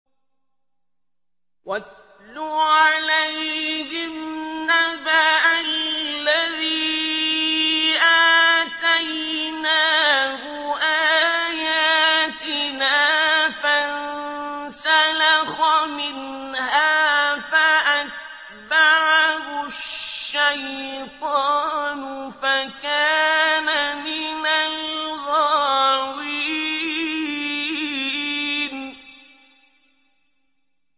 وَاتْلُ عَلَيْهِمْ نَبَأَ الَّذِي آتَيْنَاهُ آيَاتِنَا فَانسَلَخَ مِنْهَا فَأَتْبَعَهُ الشَّيْطَانُ فَكَانَ مِنَ الْغَاوِينَ